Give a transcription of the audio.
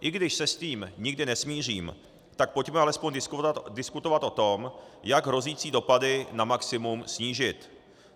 I když se s tím nikdy nesmířím, tak pojďme alespoň diskutovat o tom, jak hrozící dopady na maximum snížit.